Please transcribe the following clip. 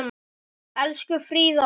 Elsku Fríða okkar.